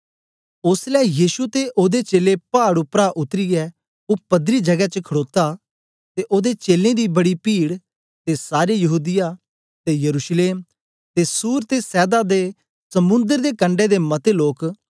ओसलै यीशु ते ओदे चेलें पाड उपरा उतरीयै ओ पदरी जगै च खडोता ते ओदे चेलें दी बड़ी पीड ते सारे यहूदीया ते यरूशलेम ते सूर ते सैदा दे समुंदर दे कंडै दे मते लोक